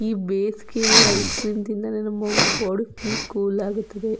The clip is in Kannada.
ಈ ಬೇಸಿಗೆಯಲ್ಲಿ ಐಸ್ ಕ್ರೀಮ್ ತಿನ್ನುದರಿಂದ ಬಾಡಿ ಫುಲ್ ಕೂಲ್ ಆಗುತದೆ.